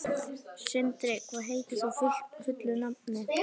Sindri, hvað heitir þú fullu nafni?